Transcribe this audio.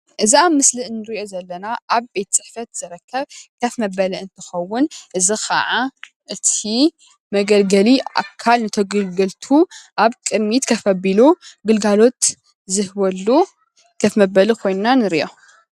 እዚ ኣብ ምስሊ እንሪኦ ዘለና ኣብ ቤት ፅሕፈት ዝርከብ ከፍ መበሊ እንትኸውን እዚ ከዓ እቲ መገልገሊ ኣካል ንተገልገልቱ ኣብ ቅድሚት ከፍ ኣቢሉ ግልጋሎት ዝህበሉ ከፍ መበሊ ኾይንና ንሪኦ፡፡